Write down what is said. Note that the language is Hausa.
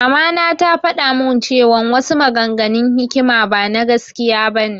Mama na tafaɗa mun cewan wasu maganganun hikima bana gaskiya bane